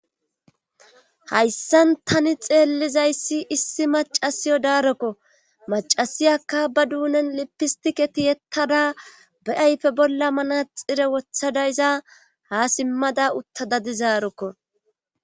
Hayssan tani xeellizayssi issi macasiyo daarokko macasiyakka ba duunen lipistike tiyektada be ayfe bolla manaxire wothadayza ha simmada utta dadizaarokko.